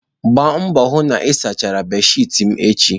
Gbaa mbọ hụ na ị sachara bedsheeti m echi.